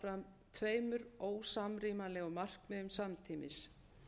fyrir að reyna að ná fram tveimur ósamrýmanlegum markmiðum samtímis